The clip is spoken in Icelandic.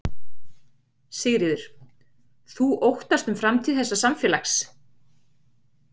Sigríður: Þú óttast um framtíð þessa samfélags?